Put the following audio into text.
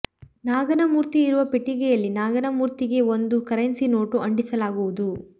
ನಾಗನ ಮೂರ್ತಿ ಇರುವ ಪೆಟ್ಟಿಗೆಯಲ್ಲಿ ನಾಗನ ಮೂರ್ತಿಗೆ ಒಂದು ಕರೆನ್ಸಿ ನೋಟು ಅಂಟಿಸಲಾಗುವುದು